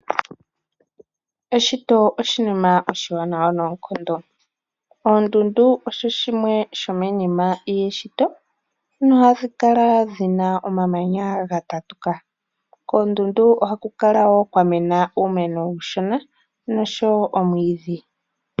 Eshito oshinima oshiwanawa noonkondo. Oondundu odho dhimwe dhomiinima yeshito nohadhi kala dhi na omamanya ga tatuka. Koondundu ohaku kala wo kwa mena uumeno uushona noshowo omwiidhi.